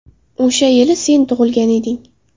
O‘sha yili sen tug‘ilgan eding.